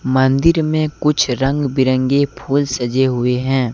मंदिर में कुछ रंग बिरंगे फूल सजे हुए हैं।